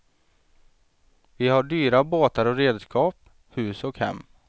Vi har dyra båtar och redskap, hus och hem.